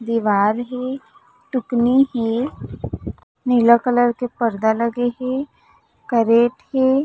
दिवार हे टुकनी हे नीला कलर के पर्दा लगे हे करेट हे।